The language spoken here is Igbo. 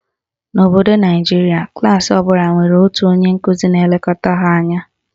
N'obodo Naijiria, klaasị ọbụla nwere otu onye nkụzi na-elekọta ha anya.